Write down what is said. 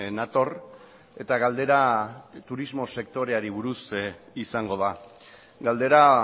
nator eta galdera turismo sektoreari buruz izango da galdera